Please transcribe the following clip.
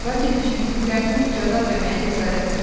Lakin düşündüklərini ucadan deməyə cəsarət etmədi.